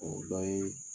O dɔ ye